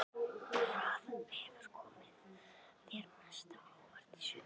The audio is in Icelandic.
Hvað hefur komið þér mest á óvart í sumar?